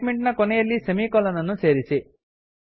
statement ನ ಕೊನೆಯಲ್ಲಿ semicolon ಅನ್ನು ಸೇರಿಸಿ